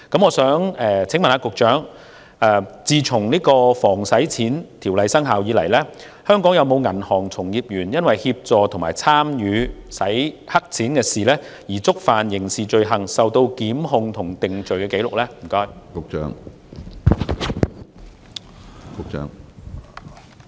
我想請問局長，《打擊洗錢及恐怖分子資金籌集條例》生效至今，香港有否銀行從業員因協助和參與洗錢而觸犯刑事罪行，並被檢控和定罪？